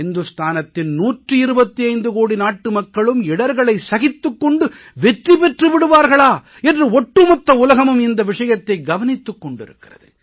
இந்துஸ்தானத்தின் 125 கோடி நாட்டு மக்களும் இடர்களை சகித்துக் கொண்டு வெற்றி பெற்று விடுவார்களா என்று ஒட்டு மொத்த உலகமும் இந்த விஷயத்தை கவனித்துக் கொண்டிருக்கிறது